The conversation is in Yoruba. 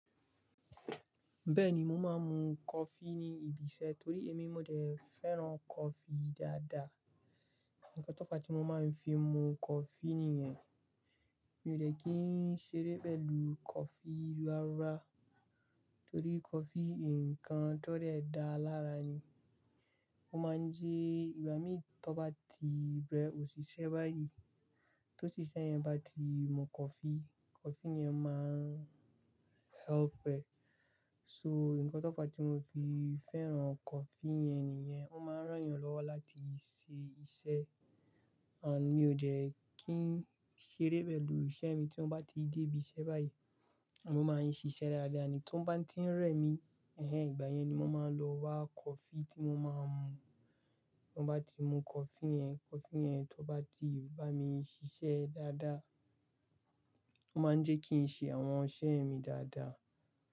Bẹ́ẹ̀ni, mo máa ń mu coffee ní ibi iṣẹ́ torí èmi mo dẹ̀ fẹ́ràn coffee dáadáa. Ǹkan tó’fa tí mo máa ń fi mu coffee nìyẹn, mi ò dẹ̀ kí ń ṣeré pẹ̀lú coffee rárá, torí coffee nǹkan tó dẹ̀ dáa lára ni. Ó máa ń ji ìgbá mi tó bá ti bẹ́ òṣìṣẹ́ báyìí. Tó ṣiṣẹ́ yẹn bá ti mu coffee, coffee yẹn máa ń help ẹ. So, ǹkan tó fa tí mo fi fẹ́ràn coffee yẹn nìyẹn, ó máa ń rán yàn lọ́wọ́ láti ṣe iṣẹ́. And mi ò jẹ̀ kí ń ṣeré pẹ̀lú iṣẹ́ mi tí ó bá ti dé ibi iṣẹ́ báyìí. Mo máa ń ṣiṣẹ́ dáadáa ni tó bá ń tí ń rẹ̀ mí. Ìgbà yẹn ni mo máa n lọ wa coffee tí mo máa ń mu. Mo bá ti mu coffee yẹn, coffee yẹn tó bá ti bá mi ṣiṣẹ́ dáadáa, ó máa ń jẹ kí n ṣe àwọn iṣẹ́ mi dáadáa.